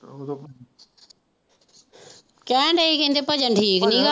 ਕਹਿਣ ਦੇ ਹੀ ਕਹਿੰਦੇ ਭਜਨ ਠੀਕ ਨੀ।